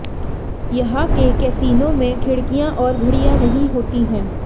यहां के कैसीनों में खिड़कियां और घडि़या नहीं होती है